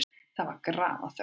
Það var grafarþögn.